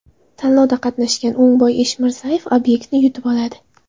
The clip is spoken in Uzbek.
Tanlovda qatnashgan O‘ngboy Eshmirzayev obyektni yutib oladi.